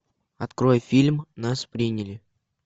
открой фильм нас приняли